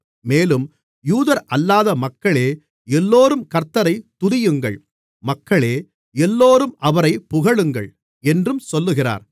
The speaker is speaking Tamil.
மேலும் யூதரல்லாத மக்களே எல்லோரும் கர்த்த்தரை துதியுங்கள் மக்களே எல்லோரும் அவரைப் புகழுங்கள் என்றும் சொல்லுகிறார்